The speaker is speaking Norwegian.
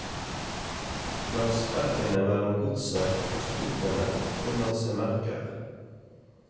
Langs sprekkene mellom godset og skuffene kunne han se merker.